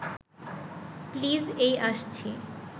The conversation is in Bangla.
প্লিজ এই আসছি